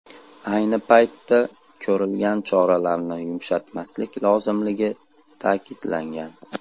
Ayni paytda ko‘rilgan choralarni yumshatmaslik lozimligi ta’kidlangan.